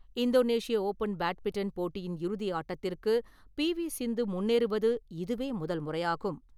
இந்தோனேஷிய open badminton போட்டியின் இறுதி ஆட்டத்திற்கு பி வி சிந்து முன்னேறுவது இதுவே முதல்முறையாகும்.